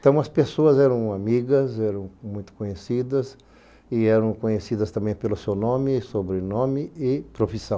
Então, as pessoas eram amigas, eram muito conhecidas e eram conhecidas também pelo seu nome, sobrenome e profissão.